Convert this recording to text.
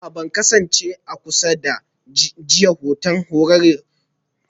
A'a ban kasance a kusa da jiya don Horon Radar a tashar ruwa ba